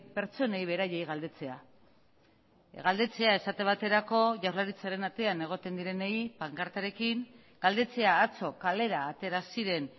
pertsonei beraiei galdetzea galdetzea esate baterako jaurlaritzaren atean egoten direnei pankartarekin galdetzea atzo kalera atera ziren